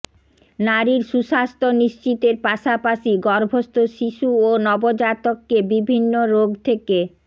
নারীর সুস্বাস্থ্য নিশ্চিতের পাশাপাশি গর্ভস্থ শিশু ও নবজাতককে বিভিন্ন রোগ থেকে